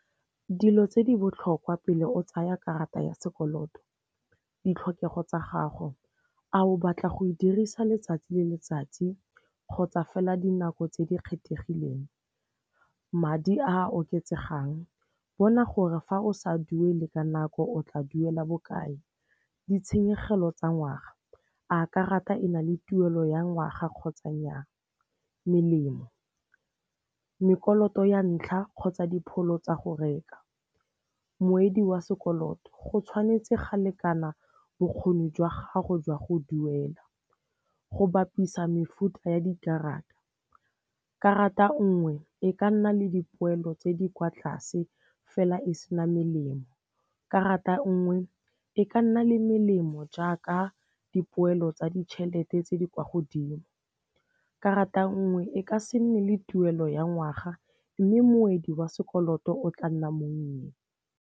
Dilo tse di botlhokwa pele o tsaya karata ya sekoloto. Ditlhokego tsa gago, a o batla go e dirisa letsatsi le letsatsi kgotsa fela dinako tse di kgethegileng. Madi a oketsegang, bona gore fa o sa duele ka nako o tla duela bokae. Ditshenyegelo tsa ngwaga, a karata e na le tuelo ya ngwaga kgotsa nnyaa. Melemo, mekolota ya ntlha kgotsa dipholo tsa go reka. Moedi wa sekoloto, go tshwanetse ga lekana bokgoni jwa gago jwa go duela. Go bapisa mefuta ya dikarata, karata nngwe e ka nna le dipoelo tse di kwa tlase fela e sena melemo, karata nngwe e ka nna le melemo jaaka dipoelo tsa ditšhelete tse di kwa godimo, karata nngwe e ka se nne le tuelo ya ngwaga mme moedi wa sekoloto o tla nna mongwe.